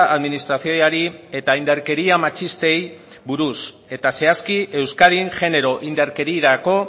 administrazioari eta indarkeria matxistei buruz eta zehazki euskadin genero indarkerirako